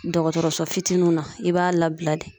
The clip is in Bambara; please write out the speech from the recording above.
Dɔgɔtɔrɔso fitininw na , i b'a labila de.